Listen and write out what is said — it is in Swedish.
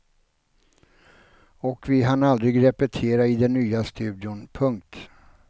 Och vi hann aldrig repetera i den nya studion. punkt